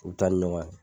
U bɛ taa ni ɲɔgɔn ye